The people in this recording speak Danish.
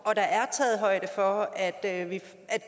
og der er taget højde for at